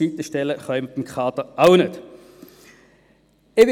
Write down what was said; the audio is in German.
Und überall kann man dem Kader auch nicht einen Coach zur Seite stellen.